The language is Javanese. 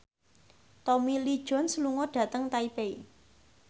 Tommy Lee Jones lunga dhateng Taipei